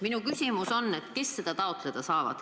Minu küsimus on: kes seda raha taotleda saavad?